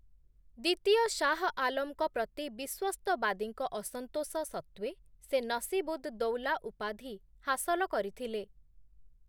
ଦ୍ୱିତୀୟ ଶାହ ଆଲମଙ୍କ ପ୍ରତି ବିଶ୍ୱସ୍ତବାଦୀଙ୍କ ଅସନ୍ତୋଷ ସତ୍ତ୍ଵେ ସେ 'ନସୀବ-ଉଦ୍-ଦୌଲା' ଉପାଧି ହାସଲ କରିଥିଲେ ।